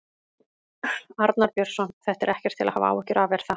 Arnar Björnsson: Þetta er ekkert til að hafa áhyggjur af, er það?